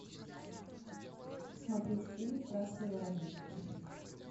смотреть фильм красный воробей